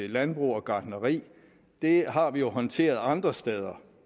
landbrug og gartneri har vi håndteret andre steder